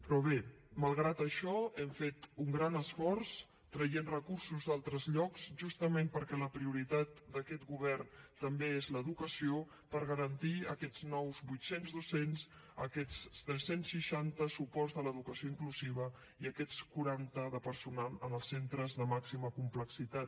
però bé malgrat això hem fet un gran esforç traient recursos d’altres llocs justament perquè la prioritat d’aquest govern també és l’educació per garantir aquests nous vuit cents docents aquests tres cents i seixanta suports de l’educació inclusiva i aquests cent i quaranta de personal en els centres de màxima complexitat